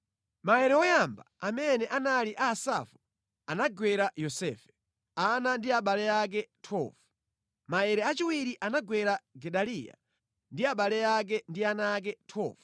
Maere woyamba amene anali a Asafu, anagwera Yosefe, ana ndi abale ake. 12 Maere achiwiri anagwera Gedaliya, ndi abale ake ndi ana ake. 12